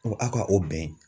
aw ka o bɛn.